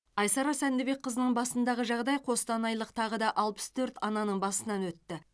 айсара сәндібекқызының басындағы жағдай қостанайлық тағы алпыс төрт ананың басынан өтті